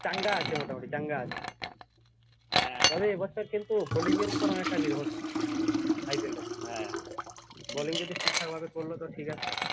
চাঙ্গা আছে মোটামুটি চাঙ্গা আছে। তবে এবছর কিন্তু bolling এর উপর অনেকটা নির্ভর করবে IPL bolling যদি ঠিকঠাক মত করল তো ঠিক আছে